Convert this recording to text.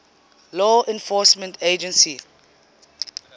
law enforcement agency